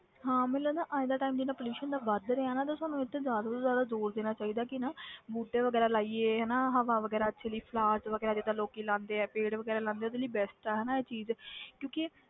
ਹਾਂ ਮੈਨੂੰ ਲੱਗਦਾ ਅੱਜ ਦਾ time ਜਿੰਨਾ pollution ਵੱਧ ਰਿਹਾ ਨਾ ਤੇ ਸਾਨੂੰ ਇਹ ਤੇ ਜ਼ਿਆਦਾ ਤੋਂ ਜ਼ਿਆਦਾ ਜ਼ੋਰ ਦੇਣਾ ਚਾਹੀਦਾ ਕਿ ਨਾ ਬੂਟੇ ਵਗ਼ੈਰਾ ਲਾਈਏ, ਹਨਾ ਹਵਾ ਵਗ਼ੈਰਾ ਅੱਛੀ ਲਈ flowers ਵਗ਼ੈਰਾ ਜਿੱਦਾਂ ਲੋਕੀ ਲਾਉਂਦੇ ਆ ਪੇੜ੍ਹ ਵਗ਼ੈਰਾ ਲਾਉਂਦੇ ਆ ਉਹਦੇ ਲਈ best ਆ ਹਨਾ ਇਹ ਚੀਜ਼ ਕਿਉਂਕਿ